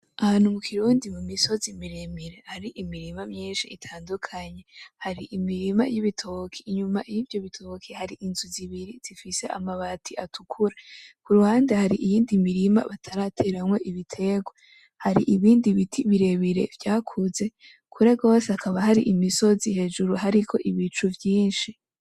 Ahantu mukirundi mumisozi miremire hari imirima myinshi itandukanye hari imirima yibitoki inyuma yivyo bitoki hari hari inzu zibiri zifise amabati atukura kuruhande hari iyindi mirima batarateramwo ibitegwa hari ibindi biti birebire vyakuze kure gose hakaba hari imisozi hejuru hariko ibicu vyinshi